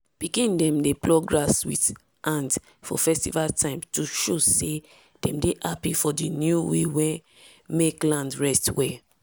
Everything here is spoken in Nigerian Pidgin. pikin dem dey pluck grass with hand for festival time to show say dem dey happy for di new way wey mek land rest well.